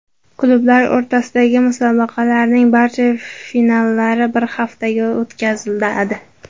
Klublar o‘rtasidagi musobaqalarning barcha finallari bir haftada o‘tkaziladi.